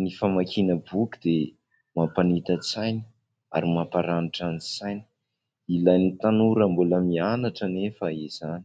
ny famakiana boky dia mampanita-tsaina ary mamparanitra ny saina, ilain'ny tanora mbola mianatra anefa izany.